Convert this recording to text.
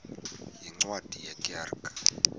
yeencwadi ye kerk